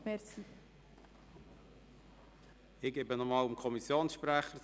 Der Kommissionssprecher hat nochmals das Wort.